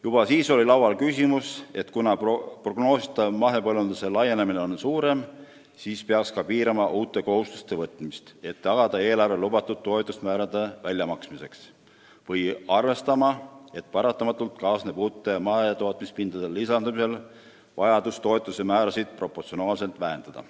Juba siis oli laual küsimus, et prognoosi järgi mahepõllundus üha laieneb ja seega peaks piirama uute kohustuste võtmist, et tagada lubatud toetuste määrade väljamaksmine, või arvestama, et paratamatult kaasneb uute mahetootmispindade lisandumisega vajadus toetuste määrasid proportsionaalselt vähendada.